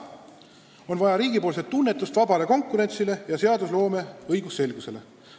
On vaja riigipoolset tuge vabale konkurentsile ja seadusloome õigusselgusele.